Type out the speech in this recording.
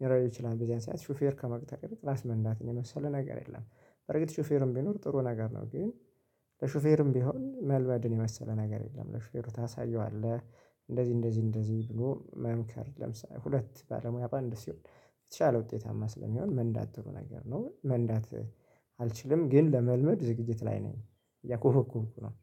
ሊኖረው ይችላል በዚያን ሰዓት ሹፌር ከመቅጠር ራስ መንዳት ነው የመሰለ ነገር የለም። በርግጥ ሹፌርም ቢኖር ጥሩ ነገር ነው። ግን ለሾፌርም ቢሆን መልመድን የመሰለ ነገር የለም ለሾፌሩ ታሳየዋለህ እንደዚህ እንደዚህ እንደዚህ ብሎ መምከር ለምሳሌ ሁለት ባለሙያ ባንድ ሲሆን የተሻለ ውጤታማ ስለሚሆን መንዳት ጥሩ ነገር ነው። መንዳት አልችልም ግን ለመልመድ ዝግጅት ላይ ነኝ። እያኮበኮብኩ ነው